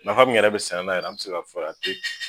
Nafa min yɛrɛ bɛ sɛnɛ nan yɛrɛ an tɛ se ka fɔ ka a te.